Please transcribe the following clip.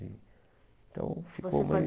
Então ficou bem. Você